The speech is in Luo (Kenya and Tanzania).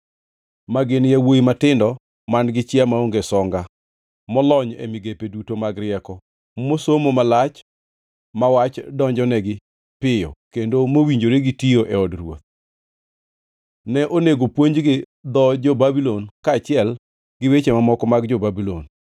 ma gin yawuowi matindo man-gi chia maonge songa, molony e migepe duto mag rieko, mosomo malach, ma wach donjonegi piyo kendo mowinjore gi tiyo e od ruoth. Ne onego opuonjgi dho jo-Babulon kaachiel gi weche mamoko mag jo-Babulon.